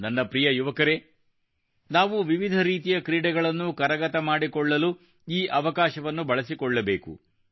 ನನ್ನ ಪ್ರಿಯ ಯುವಕರೇ ನಾವು ವಿವಿಧ ರೀತಿಯ ಕ್ರೀಡೆಗಳನ್ನು ಕರಗತ ಮಾಡಿಕೊಳ್ಳಲು ಈ ಅವಕಾಶವನ್ನು ಬಳಸಿಕೊಳ್ಳಬೇಕು